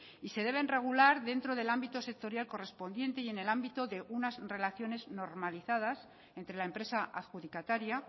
y se deben regular dentro del ámbito sectorial correspondiente y en el ámbito de unas relaciones normalizadas entre la empresa adjudicataria